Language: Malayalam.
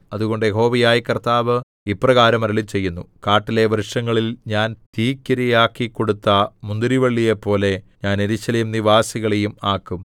അതുകൊണ്ട് യഹോവയായ കർത്താവ് ഇപ്രകാരം അരുളിച്ചെയ്യുന്നു കാട്ടിലെ വൃക്ഷങ്ങളിൽ ഞാൻ തീക്കിരയാക്കിക്കൊടുത്ത മുന്തിരിവള്ളിയെപ്പോലെ ഞാൻ യെരൂശലേം നിവാസികളെയും ആക്കും